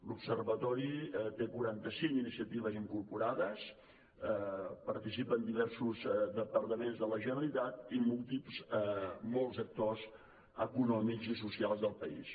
l’observatori té quaranta cinc iniciatives incorporades hi participen diversos departaments de la generalitat i molts actors econòmics i socials del país